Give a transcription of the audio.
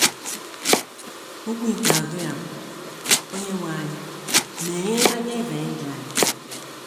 Okwu ikpeazụ ya bụ: “ Onyenwe anyị, meghee anya Eze England! ”